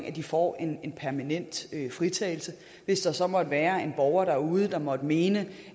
at de får en en permanent fritagelse hvis der så måtte være en borger derude som måtte mene